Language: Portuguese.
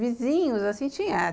Vizinhos, assim, tinha.